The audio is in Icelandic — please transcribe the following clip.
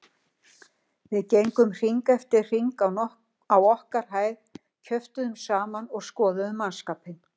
Við gengum hring eftir hring á okkar hæð, kjöftuðum saman og skoðuðum mannskapinn.